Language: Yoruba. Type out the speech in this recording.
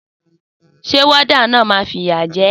Sé warder náà ma n fìyà je